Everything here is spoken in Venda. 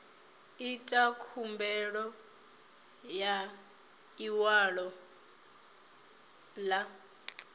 itwa khumbelo ya ḽiṅwalo ḽa